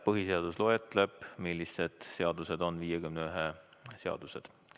Põhiseaduses on loetletud, millised seadused on 51 hääle seadused.